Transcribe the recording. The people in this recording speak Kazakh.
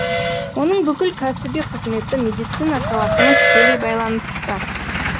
оның бүкіл кәсіби қызметі медицина саласымен тікелей байланысты